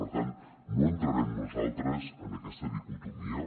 per tant no entrarem nosaltres en aquesta dicotomia